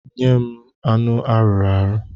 Nye m anụ a rụrụ arụ!